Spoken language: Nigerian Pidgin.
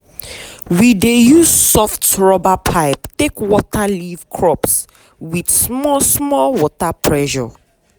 we dey use soft rubber pipe take water leaf crops with small small water pressure.